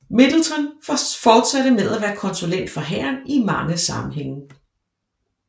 Middleton fortsatte med at være konsulent for hæren i mange sammenhænge